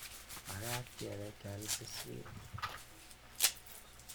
Makat kepe keal keswek